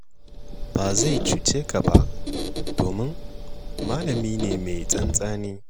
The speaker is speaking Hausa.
Ba zai cuce ka ba, domin malami ne mai tsantseni.